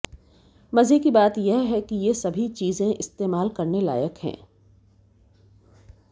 मजे की बात यह है कि ये सभी चीजें इस्तेमाल करने लायक हैं